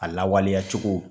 A lawaleya cogo.